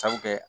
Sabu kɛ